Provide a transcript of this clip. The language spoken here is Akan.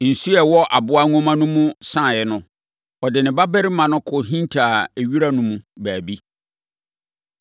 Nsuo a ɛwɔ aboa nwoma no mu saeɛ no, ɔde ne babarima no kɔhintaa wira no mu baabi.